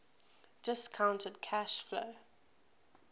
discounted cash flow